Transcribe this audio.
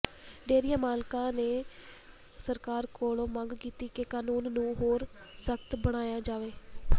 dairy ਮਾਲਕਾਂ ਨੇ ਸਰਕਾਰ ਕੋਲੋਂ ਮੰਗ ਕੀਤੀ ਕਿ ਕਾਨੂੰਨ ਨੂੰ ਹੋਰ ਸਖਤ ਬਣਾਇਆ ਜਾਵੇ